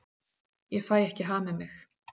Ég fæ ekki hamið mig.